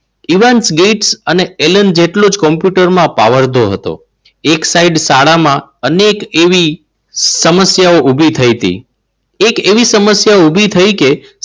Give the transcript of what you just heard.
ઈવાન Gates અને Allen જેટલો જ કોમ્પ્યુટરમાં પાવરધો હતો. એક સાઈડ શાળામાં અનેક એવી સમસ્યાઓ ઊભી થઈ હતી. એક એવી સમસ્યા ઊભી થઈ કે